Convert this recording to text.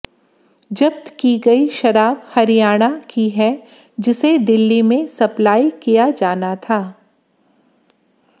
जब्त की गयी शराब हरियाणा की है जिसे दिल्ली में सप्पलाई किया जाना था